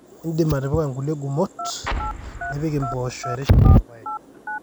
iindim atipika inkulie gumot nipik impaasho erishata oorpaek